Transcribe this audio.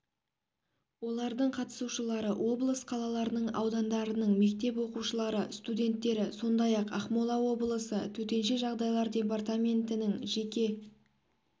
олардың қатысушылары облыс қалаларының аудандарының мектеп оқушылары студенттері сондай-ақ ақмола облысы төтенше жағдайлар департаментінің жеке